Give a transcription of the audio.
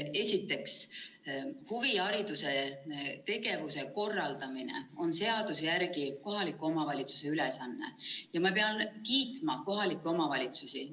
Esiteks, huvihariduse korraldamine on seaduse järgi kohaliku omavalitsuse ülesanne ja ma pean kohalikke omavalitsusi kiitma.